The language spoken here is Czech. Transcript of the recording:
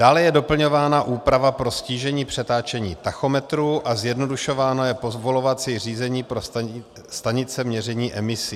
Dále je doplňována úprava pro ztížení přetáčení tachometrů a zjednodušováno je povolovací řízení pro stanice měření emisí.